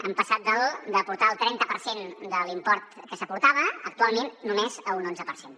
han passat d’aportar el trenta per cent de l’import que s’aportava a actualment només un onze per cent